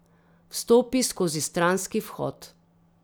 Vstopi skozi stranski vhod.